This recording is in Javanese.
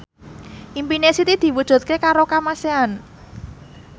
impine Siti diwujudke karo Kamasean